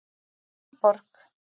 Fannborg